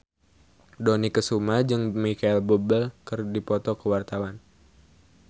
Dony Kesuma jeung Micheal Bubble keur dipoto ku wartawan